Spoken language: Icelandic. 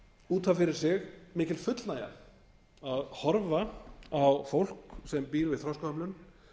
út af fyrir sig mikil fullnægja að horfa á fólk sem býr við þroskahömlun